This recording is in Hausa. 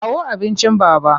Kawo abincin Baba!